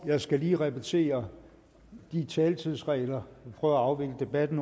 jeg skal lige repetere de taletidsregler vi prøver at afvikle debatten